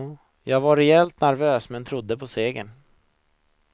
Jag var rejält nervös men trodde på seger.